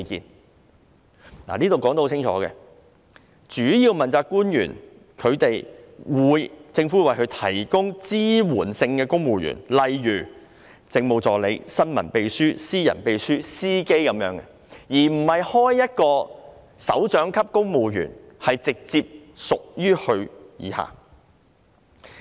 "這裏說得很清楚，政府會為主要問責官員提供支援性的公務員，例如政務助理、新聞秘書、私人秘書及司機，而不是開設一個首長級公務員職位直接隸屬於他。